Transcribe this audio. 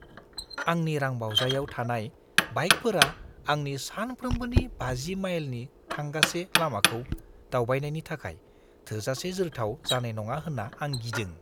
आंनि रांबावजायाव थानाय बाइकफोरा आंनि सानफ्रोमबोनि 50 माइलनि थांगासे लामाखौ दावबायनायनि थाखाय थोजासे जोरथाव जानाय नङा होन्ना आं गिदों।